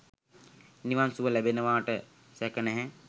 නිවන් සුව ලැබෙනවාට සැක නැහැ.